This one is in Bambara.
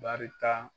Barita